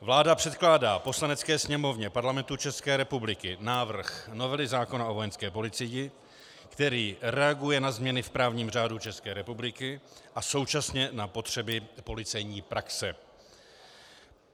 Vláda předkládá Poslanecké sněmovně Parlamentu České republiky návrh novely zákona o Vojenské policii, který reaguje na změny v právním řádu České republiky a současně na potřeby policejní praxe.